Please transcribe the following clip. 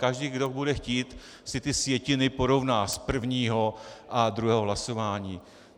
Každý, kdo bude chtít, si ty sjetiny porovná, z prvního a druhého hlasování.